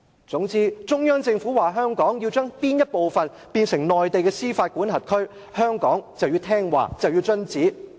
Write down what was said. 總之，中央政府說香港要將其某部分變成內地司法管轄區，香港便要聽話遵旨。